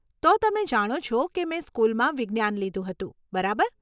તો તમે જાણો છો કે મેં સ્કુલમાં વિજ્ઞાન લીધું હતું, બરાબર?